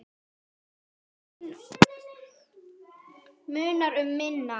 Og munar um minna!